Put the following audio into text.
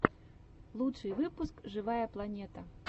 лучший выпуск живая планета